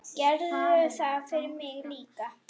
Gerðu það fyrir mig líka.